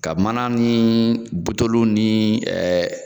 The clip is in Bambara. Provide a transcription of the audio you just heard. Ka mana ni butoluw ni